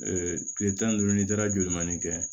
kile tan ni duuru ni taara jolimani kɛ